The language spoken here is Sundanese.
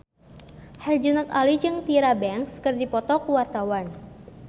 Herjunot Ali jeung Tyra Banks keur dipoto ku wartawan